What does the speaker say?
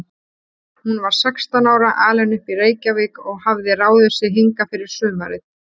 Hún var sextán ára, alin upp í Reykjavík og hafði ráðið sig hingað fyrir sumarið.